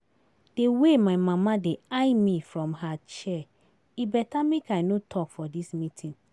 The way my mama dey eye me from her chair, e better make I no talk for dis meeting